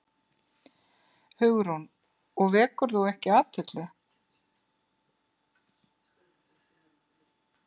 Hugrún: Og vekur þú ekki athygli?